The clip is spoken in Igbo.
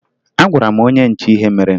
Agwara m onye nche ihe mere